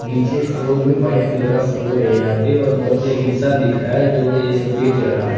नीचे फ्लोर में white colour का फ्लोर है यहां पे बहोत एक इंसान दिख रहा है जो ये सब बेच रहा है।